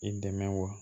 I dɛmɛ wa